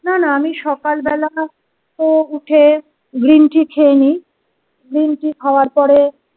না না আমি সকালবেলা উঠে green tea খেয়ে নিই green tea খাওয়ার পরে।